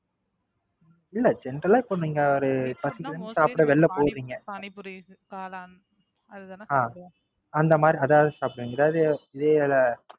இல்லஇல்ல General ஆ இப்போ நீங்க ஒரு அந்த மாதிரி அதாவது சாப்புடுவீங்க அதாவது இதேயிது